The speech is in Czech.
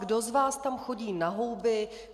Kdo z vás tam chodí na houby?